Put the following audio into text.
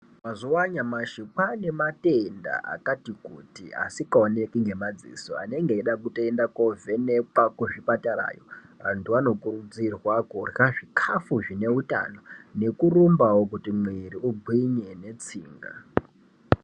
Mazuwa anyamashi kwane matenda akati kuti asikaoneki ngemadziso anenge eidaa kutoenda kovhenekwa kuzvipatarayo. Antu anokurudzirwa kurya zvikafu zvine utano nekurumbawo kuti mwiri ugwinye netsinga.